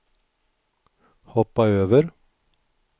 hoppa över